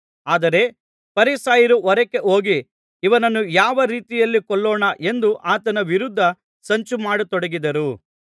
ಆದರೆ ಫರಿಸಾಯರು ಹೊರಕ್ಕೆ ಹೋಗಿ ಇವನನ್ನು ಯಾವ ರೀತಿಯಲ್ಲಿ ಕೊಲ್ಲೋಣ ಎಂದು ಆತನ ವಿರುದ್ಧ ಸಂಚು ಮಾಡತೊಡಗಿದರು